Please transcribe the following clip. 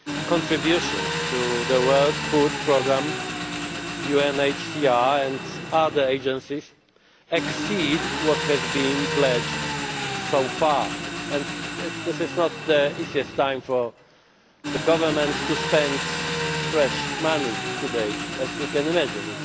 Contributions to the World Food Programme, UNHCR and other agencies exceed what has been pledged so far and this is not the easiest time for governments to spend fresh money today as you can imagine